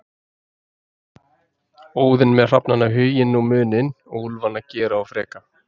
Óðinn með hrafnana Hugin og Munin og úlfana Gera og Freka.